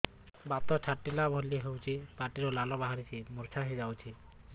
ବାତ ଛାଟିଲା ଭଳି ହଉଚି ପାଟିରୁ ଲାଳ ବାହାରି ମୁର୍ଚ୍ଛା ହେଇଯାଉଛି